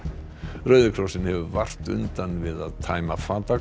rauði krossinn hefur vart undan við að tæma